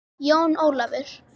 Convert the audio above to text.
Jón Ólafur!